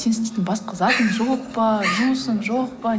сен істейтін басқа затың жоқ па жұмысың жоқ па